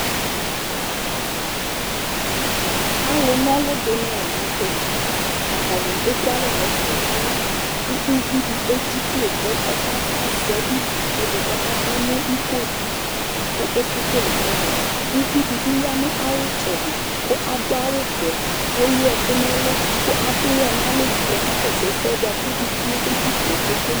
Alʊ nɔlʊ dinɩ la nʊ tɛ Atanɩ ekʊalɛ nʊ ɛfʊ na ɔlʊ Kʊ ʊvi dɩ edzɩklo kʊ azɛ ʊtʊ kʊ dɩ kʊ ɔkadʊ nʊ iko dɩ li kʊ okekelè kɔbɔɛ Ʊvidɩ bɩ ya nʊ ayɩtsɛdɩ kʊ adʊ awʊvɛ kʊ ewʊ ɛkʊ nʊ ɛlʊ kʊ adʊ ʊwɔ nʊ alɛlɩ kʊ ɔkakɔsʊ ɛsɛ bakʊ ʊvie kʊedzɩklo kekele